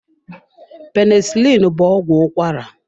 Penisilini bụ ọgwụ ụkwara.